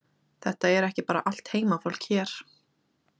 Þetta er ekki bara allt heimafólk hér?